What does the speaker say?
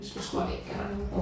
Det tror jeg ikke gør noget